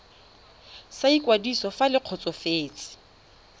sa ikwadiso fa le kgotsofetse